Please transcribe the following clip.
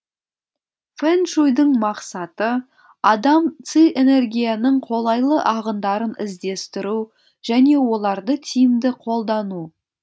фэн шуйдың мақсаты адам ци энергияның қолайлы ағындарын іздестіру және оларды тиімді қолдану